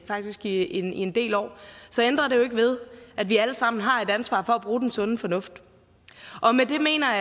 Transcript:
faktisk i en i en del år så ændrer det jo ikke ved at vi alle sammen har et ansvar for at bruge den sunde fornuft med det mener